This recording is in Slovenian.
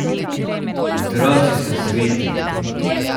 Otroci so sveti!